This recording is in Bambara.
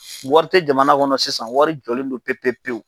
Wari tɛ jamana kɔnɔ sisan wari jɔlen don pewu pewu.